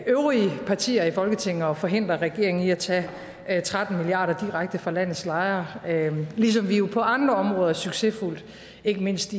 øvrige partier i folketinget at forhindre regeringen i at tage tretten milliard kroner direkte fra landets lejere ligesom vi jo på andre områder succesfuldt ikke mindst